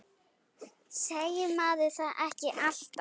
Segir maður það ekki alltaf?